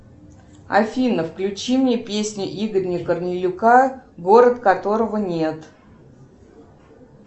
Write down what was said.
афина включи мне песню игоря корнелюка город которого нет